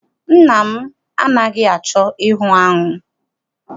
Nna m anaghị achọ ịhụ aṅụ.